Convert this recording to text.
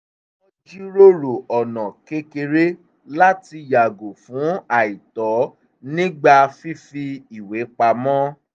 wọ́n jíròrò ọ̀nà kékeré láti yàgò fún àìtọ́ nígbà fífi ìwé pamọ́